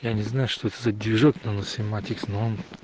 я не знаю что это за движок наносемантика